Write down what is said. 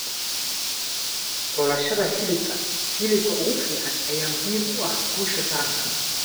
Xulashada hilibka hilibka ugu fiican ayaa muhiim u ah guusha taranka.